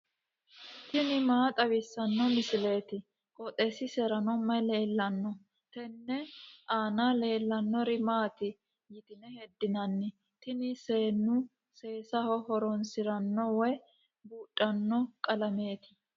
tini maa xawissanno misileeti? qooxeessisera may leellanno? tenne aana leellannori maati yitine heddinanni? tini seennu seesaho horoonsiranno woy buudhanno qalameeti